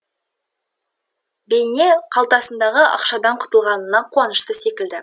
бейне қалтасындағы ақшадан құтылғанына қуанышты секілді